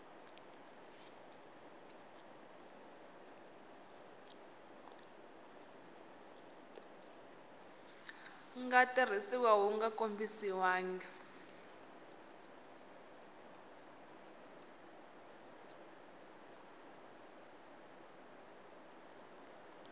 nga tirhisiwa wu nga kombisiwangi